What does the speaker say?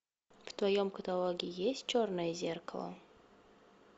в твоем каталоге есть черное зеркало